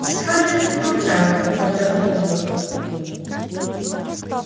скарлетт промолчала поджав губы